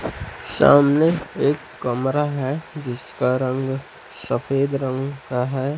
सामने एक कमरा है जिसका रंग सफेद रंग का है।